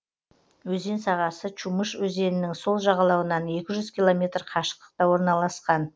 өзен сағасы чумыш өзенінің сол жағалауынан екі жүз километр қашықтықта орналасқан